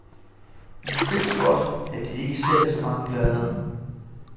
I ved godt, at det ikke sælger så mange plader?